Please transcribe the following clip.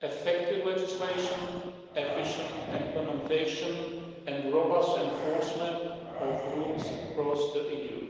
effective legislation, efficient implementation and robust enforcement of rules across the EU.